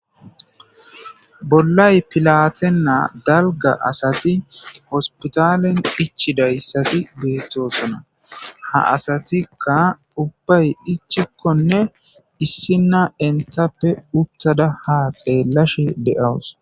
bollay pilatennaa dalga asati hospitalen dichidayssati beettosona ha asatikka ubbay hichikkonne issinna entappe uttada ha xeellashi de7owus